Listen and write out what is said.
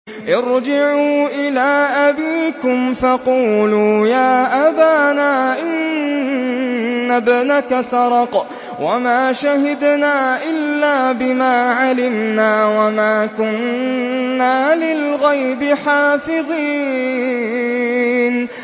ارْجِعُوا إِلَىٰ أَبِيكُمْ فَقُولُوا يَا أَبَانَا إِنَّ ابْنَكَ سَرَقَ وَمَا شَهِدْنَا إِلَّا بِمَا عَلِمْنَا وَمَا كُنَّا لِلْغَيْبِ حَافِظِينَ